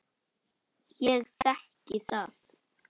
Ég þekki það.